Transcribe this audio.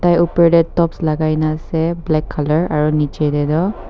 tai upar de tops lagaina ase black color aro nichey de toh--